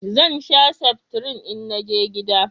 Zan sha seftrin in naje gida